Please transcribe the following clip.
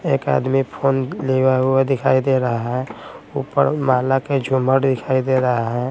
एक आदमी फोन लिवा हुआ दिखाई दे रहा है ऊपर माला के झूमर दिखाई दे रहा है।